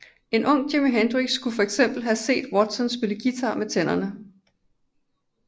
En ung Jimi Hendrix skulle for eksempel have set Watson spille guitar med tænderne